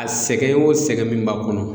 A sɛgɛn o sɛgɛn min b'a kɔnɔ